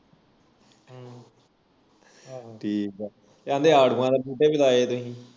ਠੀਕ ਆ ਕਹਿੰਦੇ ਆੜੂਆਂ ਦੇ ਬੂਟੇ ਵੀ ਲਾਏ ਤੁਹੀ